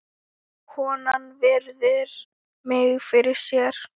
Konan virðir mig fyrir sér.